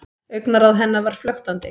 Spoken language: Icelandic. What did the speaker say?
Augnaráð hennar var flöktandi.